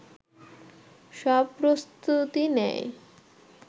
সব প্রস্তুতি নেয়